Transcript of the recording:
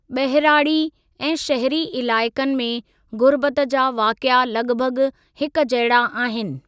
ॿहिराड़ी ऐं शहरी इलाइक़नि में ग़ुर्बत जा वाक़िआ लॻ भॻ हिकजहिड़ा आहिनि।